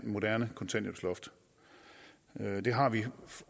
moderne kontanthjælpsloft det har vi